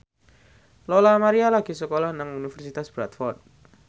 Lola Amaria lagi sekolah nang Universitas Bradford